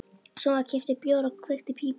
Svo var keyptur bjór og kveikt í pípu.